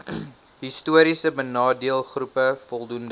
histories benadeeldegroepe voldoende